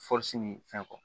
ni fɛn kɔ